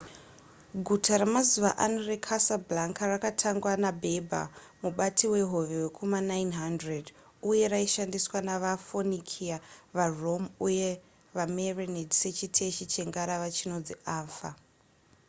guta remazuva ano recasablanca rakatangwa naberber mubati wehove wekuma900 uye raishandiswa nevaphoenicia varome uye vamerenid sechiteshi chengarava chinonzi anfa